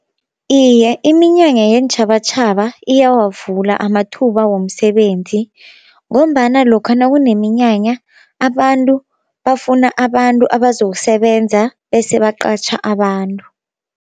Iye iminyanya yeentjhabatjhaba iyawavula amathuba womsebenzi, ngombana lokha nakuneminyanya abantu bafuna abantu abazokusebenza bese baqatjha abantu.